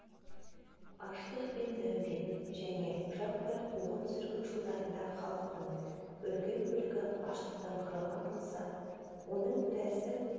аштық пен нәубет және жаппай қуғын-сүргін жылдарында халықтың үлкен бөлігі аштықтан қырылған болса оның біразы